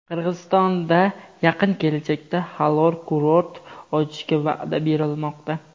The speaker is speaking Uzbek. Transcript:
Qirg‘izistonda yaqin kelajakda halol kurort ochishga va’da berilmoqda.